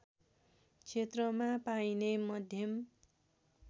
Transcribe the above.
क्षेत्रमा पाइने मध्यम